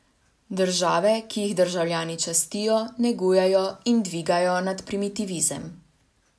Države, ki jih državljani čistijo, negujejo in dvigajo nad primitivizem.